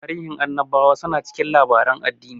Tarihin annabawa su na cikin labaren addini